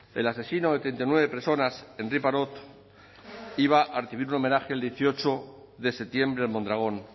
el asesino de treinta y nueve personas henri parot iba a recibir un homenaje el dieciocho de septiembre en mondragón